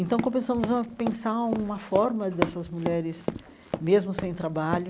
Então, começamos a pensar uma forma dessas mulheres, mesmo sem trabalho,